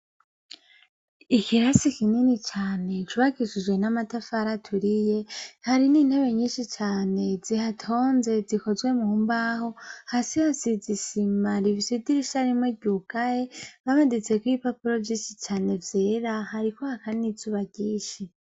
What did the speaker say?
Ikirasi kinini cane cubakishijwe n' amatafari aturiye, hari n' intebe nyinshi cane zihatonze zikozwe mu mbaho, hasi hasize isima, rifise idirisha rimwe ryugaye, hamaditseko ibipapuro vyinshi cane vyera, hariko haka n' izuba ryinshi.